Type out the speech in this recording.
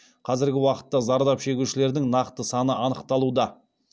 қазіргі уақытта зардап шегушілердің нақты саны анықталуда